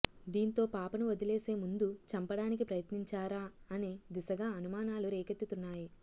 దీంతో పాపను వదిలేసే ముందు చంపడానికి ప్రయత్నించారా అనే దిశగా అనుమానాలు రేకెత్తుతున్నాయి